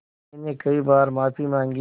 मैंने कई बार माफ़ी माँगी